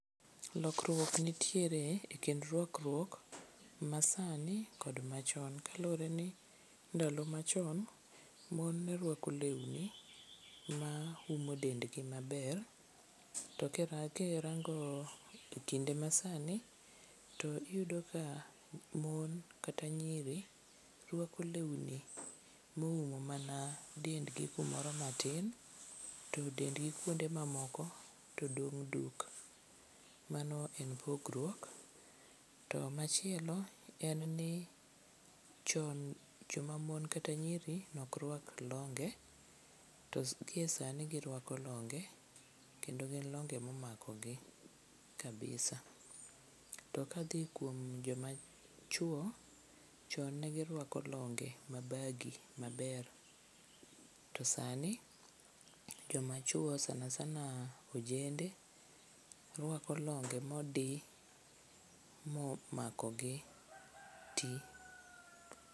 Lokruok nitiere e kind rwakruok masani kod machon kaluwre ni ndalo machon mon ne rwako lewni maumo dendgi maber to kirango e kinde masani to iyudo ka mon kata nyiri rwako lewni moumo mana dendgi kumoro matin to dendgi kuonde mamoko to odong' duk, mano en pogruok. To machielo en ni, chon joma mon kata nyiri ne ok rwak longe to gie sani girwako longe kendo gin longe momakogi kabisa. To kadhi kuom joma chwo, chon ne girwako longe ma bagi maber to sani jomachwo sana sana ojende rwako longe modii momakogi ti.